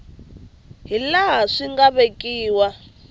hi laha swi nga vekiwa